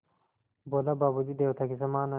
बोला बाबू जी देवता के समान हैं